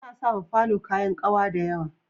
Ana sawa falo kayan kawa da yawa